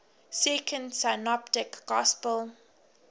second synoptic gospel